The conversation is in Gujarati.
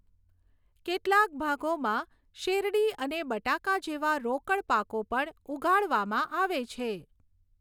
કેટલાક ભાગોમાં શેરડી અને બટાકા જેવા રોકડ પાકો પણ ઉગાડવામાં આવે છે.